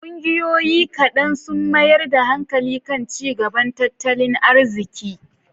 Ƙungiyoyi kaɗan sun mayar da hankali kan ci gaban tattalin arziki.